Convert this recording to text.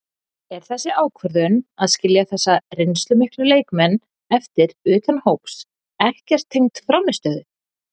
Er þessi ákvörðun að skilja þessa reynslumiklu leikmenn eftir utan hóps ekkert tengd frammistöðu?